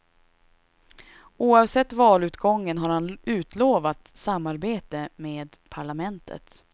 Oavsett valutgången har han utlovat samarbete med parlamentet.